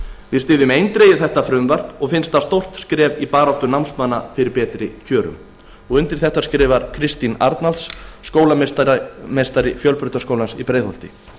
við styðjum eindregið þetta frumvarp og finnst það stórt skref í baráttu námsmanna fyrir betri kjörum undir þetta skrifar kristín arnalds skólameistari fjölbrautaskólans í breiðholti